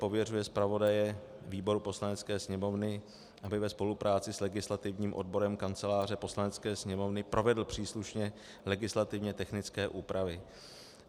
Pověřuje zpravodaje výboru Poslanecké sněmovny, aby ve spolupráci s legislativním odborem Kanceláře Poslanecké sněmovny provedl příslušně legislativně technické úpravy.